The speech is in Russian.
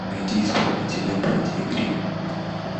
найди исполнителя братья грим